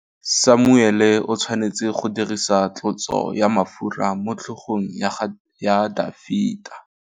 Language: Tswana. Samuele o tshwanetse go dirisa tlotsô ya mafura motlhôgong ya Dafita.